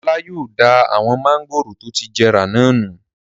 Ọlá yóò da awon mángòrò tó ti jẹrà náà nù.